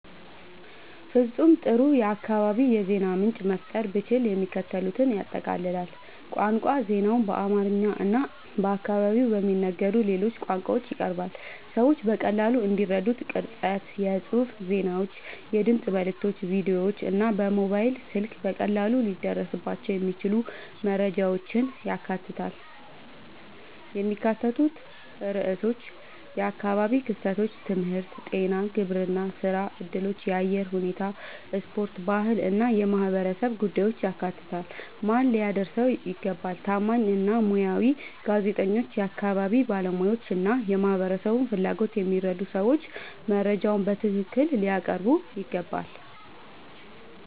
ፍጹም ጥሩ የአካባቢ የዜና ምንጭ መፍጠር ብችል፣ የሚከተሉትን ያጠቃልላል፦ ቋንቋ ዜናው በአማርኛ እና በአካባቢው በሚነገሩ ሌሎች ቋንቋዎች ይቀርባል፣ ሰዎች በቀላሉ እንዲረዱት። ቅርጸት የጽሑፍ ዜናዎች፣ የድምፅ መልዕክቶች፣ ቪዲዮዎች እና በሞባይል ስልክ በቀላሉ ሊደረስባቸው የሚችሉ መረጃዎችን ያካትታል። የሚካተቱ ርዕሶች የአካባቢ ክስተቶች፣ ትምህርት፣ ጤና፣ ግብርና፣ ሥራ እድሎች፣ የአየር ሁኔታ፣ ስፖርት፣ ባህል እና የማህበረሰብ ጉዳዮችን ያካትታል። ማን ሊያደርሰው ይገባ? ታማኝ እና ሙያዊ ጋዜጠኞች፣ የአካባቢ ባለሙያዎች እና የማህበረሰቡን ፍላጎት የሚረዱ ሰዎች መረጃውን በትክክል ሊያቀርቡት ይገባል።